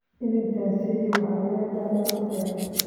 Inantaasi waxay leedahay af dheer